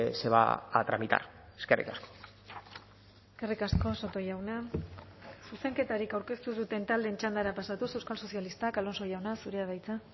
se va a tramitar eskerrik asko eskerrik asko soto jauna zuzenketarik aurkeztu ez duten taldeen txandara pasatuz euskal sozialistak alonso jauna zurea da hitza